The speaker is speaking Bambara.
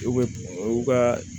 U bɛ u ka